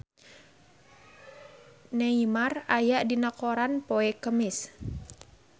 Neymar aya dina koran poe Kemis